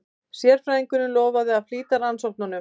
Sérfræðingurinn lofaði að flýta rannsóknunum.